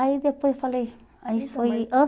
Aí depois falei, aí isso foi